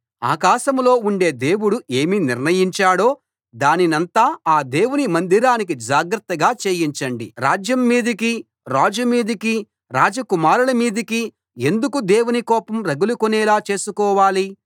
ఆకాశంలో ఉండే దేవుడు ఏమి నిర్ణయించాడో దానినంతా ఆ దేవుని మందిరానికి జాగ్రత్తగా చేయించండి రాజ్యం మీదికి రాజు మీదికి రాజ కుమారుల మీదికి ఎందుకు దేవుని కోపం రగులుకొనేలా చేసుకోవాలి